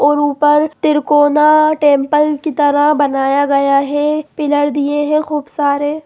और ऊपर तिरकोना टेम्पल की तरह बनाया गया है पिलर दिये हैं खूब सारे।